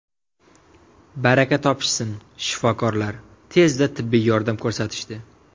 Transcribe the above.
Baraka topishsin shifokorlar tezda tibbiy yordam ko‘rsatishdi.